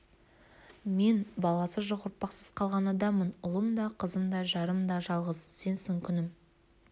мен баласы жоқ ұрпақсыз қалған адаммын ұлым да қызым да жарым да жалғыз сенсің күнім